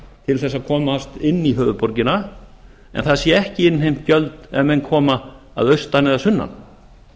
til að komast inn í höfuðborgina en það séu ekki innheimt gjöld ef menn koma að austan eða sunnan